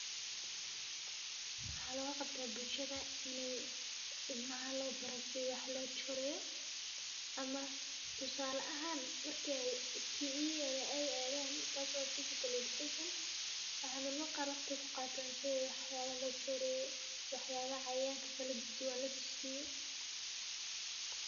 Waxa logaqabta bulshada iney ilmaha lobari sidi wax lojero ama tusale ahaan marke physical education PE ey adan qar waqti kuqatan sidhii wax lojereyo waxyabaha cayayanka kaladuwan lotusiyo.